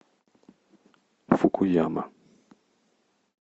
фукуяма